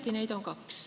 Neid on õieti kaks.